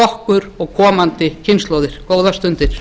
okkur og komandi kynslóðir góðar stundir